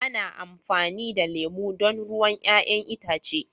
ana amfani da lemu don ruwan 'ya'yan itace